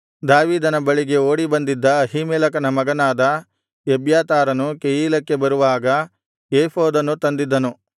ದಾವೀದನ ಬಳಿಗೆ ಓಡಿಬಂದಿದ್ದ ಅಹೀಮೆಲೆಕನ ಮಗನಾದ ಎಬ್ಯಾತಾರನು ಕೆಯೀಲಕ್ಕೆ ಬರುವಾಗ ಏಫೋದನ್ನು ತಂದಿದ್ದನು